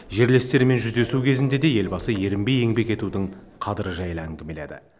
жерлестермен жүздесу кезінде де елбасы ерінбей еңбек етудің қадірі жайлы әңгімеледі